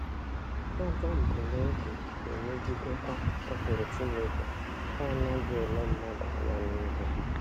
Ajọ mbunobi na - emegidekwa ụkpụrụ Chineke nke anaghị ele mmadụ anya n’ihu.